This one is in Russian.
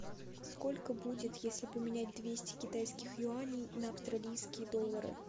сколько будет если поменять двести китайских юаней на австралийские доллары